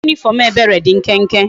Uwe uniform ebere di nkenke